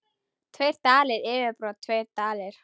Tveir dalir yfirbót tveir dalir.